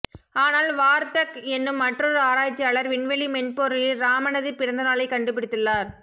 ஆனால் வார்தக் என்னும் மற்றொரு ஆராய்ச்சியாளர் விண்வெளி மென்பொருளில் ராமனது பிறந்தநாளைக் கண்டுபிடுத்துள்ளார்